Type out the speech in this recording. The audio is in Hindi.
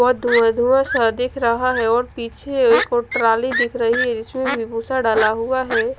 और धुँआ धुँआ सा दिख रहा है और पीछे एक ट्राली दिख रही है जिसमे भी भूसा डाला हुआ है।